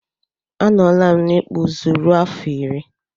Anọlam n'ikpụ ụzụ rue afọ iri.